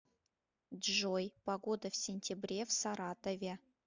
джой погода в сентябре в саратове